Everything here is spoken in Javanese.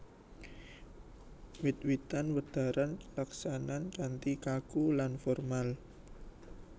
Wiwitan wedharan kalaksanan kanthi kaku lan formal